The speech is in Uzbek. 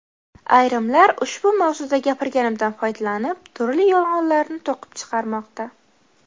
Ayrimlar ushbu mavzuda gapirganimdan foydalanib, turli yolg‘onlarni to‘qib chiqarmoqda.